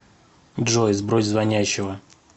джой сбрось звонящего